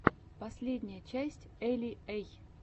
последняя часть эли эй